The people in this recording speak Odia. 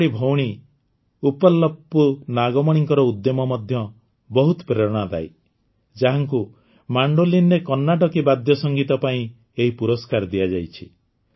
ସେହିଭଳି ଭଉଣୀ ଉପ୍ପଲପୁ ନାଗମଣିଙ୍କ ଉଦ୍ୟମ ମଧ୍ୟ ବହୁତ ପ୍ରେରଣାଦାୟୀ ଯାହାଙ୍କୁ ମେଣ୍ଡୋଲିନ୍ରେ କର୍ଣ୍ଣାଟକୀ ବାଦ୍ୟସଙ୍ଗୀତ ପାଇଁ ଏହି ପୁରସ୍କାର ଦିଆଯାଇଛି